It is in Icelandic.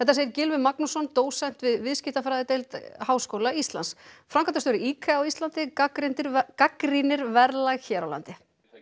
segir Gylfi Magnússon dósent við viðskiptafræðideild Háskóla Íslands framkvæmdastjóri IKEA á Íslandi gagnrýnir gagnrýnir verðlag hér á landi